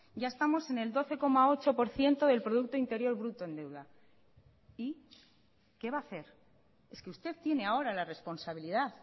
ya estamos en el doce coma ocho por ciento del producto interior bruto en deuda y qué va a hacer es que usted tiene ahora la responsabilidad